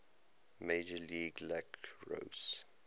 major league lacrosse